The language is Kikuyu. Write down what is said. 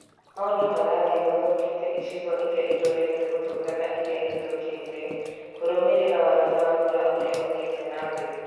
Maũndũ marathiĩ mathũkĩte icigo iria irorete gũthũka na iria ithũkĩte kũrũmĩrĩra wagi wa mbura ũrĩa uthiĩte na mbere